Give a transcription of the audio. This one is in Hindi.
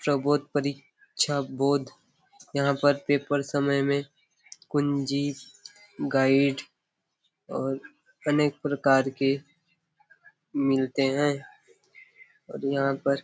प्रबोध परीक्षाबोध यहाँ पर पेपर समय में कुंजी गाइड और अनेक प्रकार के मिलते है और यहाँ पर --